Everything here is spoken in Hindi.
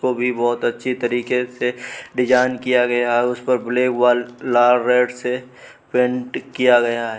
तो भी बोहोत अच्छी तरीके से से डिजाइन किया गया। उस पर ब्लैक वाल लाल रेड से पेंट किया गया है।